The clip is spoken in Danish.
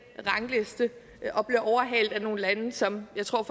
rangliste og blevet overhalet af nogle lande som jeg tror